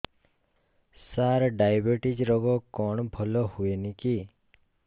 ସାର diabetes ରୋଗ କଣ ଭଲ ହୁଏନି କି